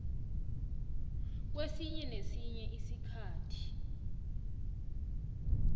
kwesinye nesinye isikhathi